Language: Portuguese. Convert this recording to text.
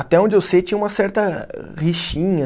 Até onde eu sei, tinha uma certa rixinha.